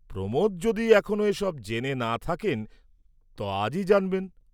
প্রমোদ যদি এখনো এ সব জেনে না থাকেন ত আজই জানবেন।